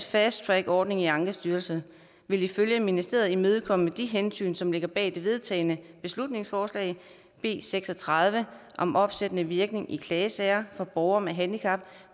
fast track ordning i ankestyrelsen vil ifølge ministeriet imødekomme de hensyn som ligger bag det vedtagne beslutningsforslag b seks og tredive om opsættende virkning i klagesager for borgere med handicap